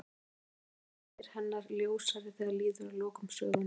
Kannski verða einhverjir þættir hennar ljósari þegar líður að lokum sögunnar.